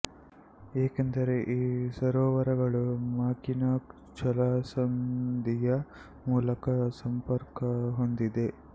ಏಕೆಂದರೆ ಈ ಸರೋವರಗಳು ಮಾಕಿನಾಕ್ ಜಲಸಂಧಿಯ ಮೂಲಕ ಸಂಪರ್ಕ ಹೊಂದಿದೆ